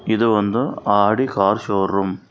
ಇದು ಒಂದು Audi car showroom .